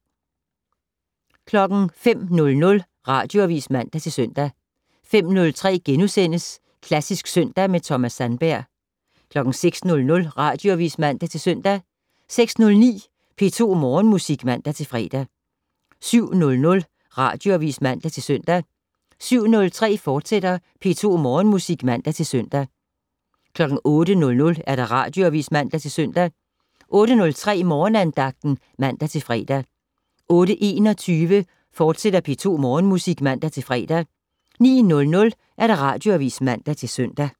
05:00: Radioavis (man-søn) 05:03: Klassisk søndag med Thomas Sandberg * 06:00: Radioavis (man-søn) 06:09: P2 Morgenmusik (man-fre) 07:00: Radioavis (man-søn) 07:03: P2 Morgenmusik, fortsat (man-søn) 08:00: Radioavis (man-søn) 08:03: Morgenandagten (man-fre) 08:21: P2 Morgenmusik, fortsat (man-fre) 09:00: Radioavis (man-søn)